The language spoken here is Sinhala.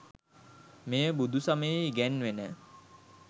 මෙය බුදුසමයේ ඉගැන්වෙන